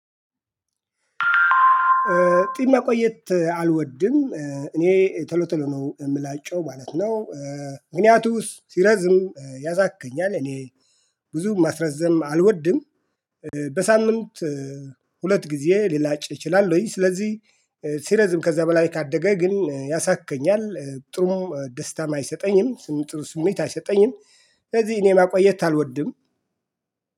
ጺም ማቆየት አልወድም እኔ ተሎ ተሎ ነው የምላጨው ማለት ነው። ምክንያቱም ሲረዝም ያሳክከኛል እኔ ብዙ ማስረዘም አልወድም። በሳምንት ሁለት ጊዜ ሊላጭ ይችላል ወይ? ስለዚህ ሲረዝም ከዛ በላይ ካደገ ግን ያሳክከኛል ጥሩ ደስታ አይሰጠኝም። ስም ጥሩ ስሜት አይሰጠኝም። ስለዚህ እኔ ማቆየት አልወድም።